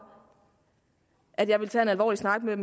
at jeg ville tage en alvorlig snak med